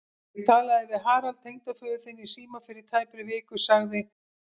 Ég talaði við Harald tengdaföður þinn í síma fyrir tæpri viku sagði